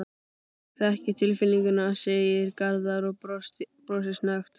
Ég þekki tilfinninguna, segir Garðar og brosir snöggt.